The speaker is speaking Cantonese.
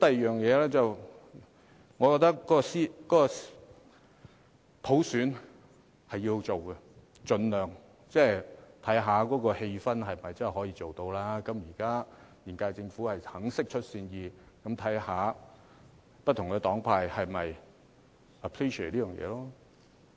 再者，我覺得普選是要進行的，盡量看看氣氛是否可以進行，現屆政府現在願意釋出善意，看看不同黨派是否樂見這點。